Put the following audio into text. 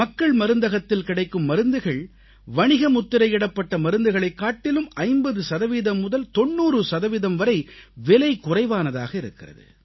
மக்கள் மருந்தகத்தில் கிடைக்கும் மருந்துகள் வணிகமுத்திரையிடப்பட்ட மருந்துகளைக் காட்டிலும் 50 சதவீதம் முதல் 90 சதவீதம் வரை விலை குறைவானதாக இருக்கிறது